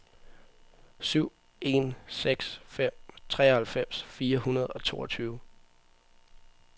syv en seks fem treoghalvfems fire hundrede og toogtyve